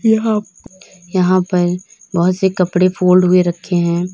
यहां यहां पर बहोत से कपड़े फोल्ड हुए रखे हैं।